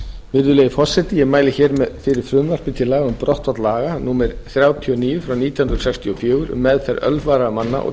virðulegi forseti ég mæli hér fyrir frumvarpi til laga um brottfall laga númer þrjátíu og níu nítján hundruð sextíu og fjögur um meðferð ölvaðra manna og